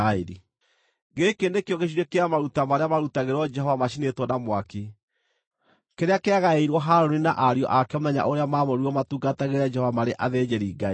Gĩkĩ nĩkĩo gĩcunjĩ kĩa maruta marĩa maarutagĩrwo Jehova macinĩtwo na mwaki, kĩrĩa kĩagaĩirwo Harũni na ariũ ake mũthenya ũrĩa maamũrirwo matungatagĩre Jehova marĩ athĩnjĩri-Ngai.